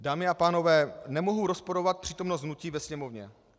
Dámy a pánové, nemohu rozporovat přítomnost hnutí ve Sněmovně.